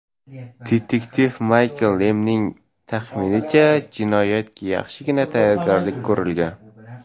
Detektiv Maykl Lemning taxminicha, jinoyatga yaxshigina tayyorgarlik ko‘rilgan.